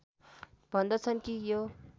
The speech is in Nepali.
भन्दछन् कि यो